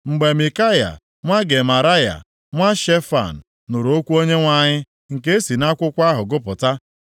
Mgbe Mikaya nwa Gemaraya nwa Shefan nụrụ okwu Onyenwe anyị nke e si nʼakwụkwọ ahụ gụpụta,